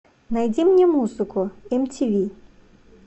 найди мне музыку мтв